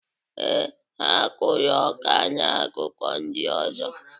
Ee, ha kụrụ ọka na akụkụ ndị ọzọ.